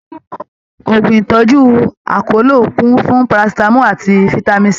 Òògùn ìtọjú akọlo kún fún Parasitamọ àti fitami C.